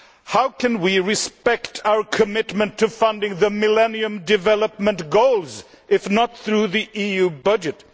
How can we respect our commitment to funding the Millennium Development Goals if not through the EU budget?